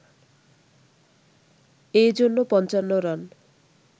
এজন্য ৫৫ রান